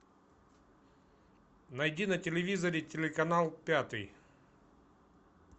найди на телевизоре телеканал пятый